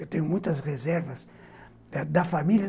Eu tenho muitas reservas da família.